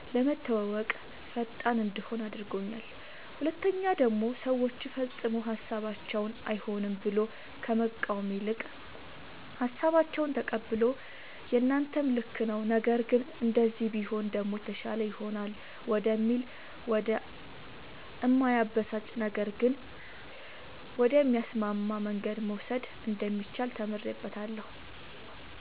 ለመተወወቅ ፈጣን እንድሆን አድርጎኛል ሁለተኛ ደሞ ሰወችን ፈፅሞ ሀሳባቸውን አይሆንም ብሎ ከመቃወም ይልቅ ሃሳባቸውን ተቀብሎ የናንተም ልክ ነዉ ነገር ግን እንደዚህ ቢሆን ደሞ የተሻለ ይሆናል ወደሚል ወደ እማያበሳጭ ነገር ግን ወደሚያስማማ መንገድ መውሰድ እንደሚቻል ተምሬበታለሁ።